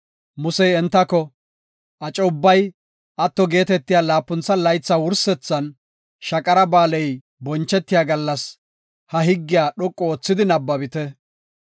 Musey entako, “Aco ubbay atto geetetiya laapuntha laytha wursethan, Shaqara Ba7aaley bonchetiya gallas, ha higgiya dhoqu oothidi nabbabite.